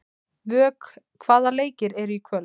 Vök, hvaða leikir eru í kvöld?